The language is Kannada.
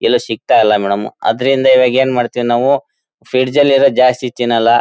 ಎಲ್ಲೂ ಸಿಕ್ತಾ ಇಲ್ಲ ಮೇಡಂ ಅದರಿಂದ ಇವಾಗ ಏನು ಮಾಡ್ತೀವಿ ನಾವು ಫ್ರಿಡ್ಜ್ ಲ್ಲಿ ಇರೋದು ಜಾಸ್ತಿ ತಿನ್ನಲ್ಲ.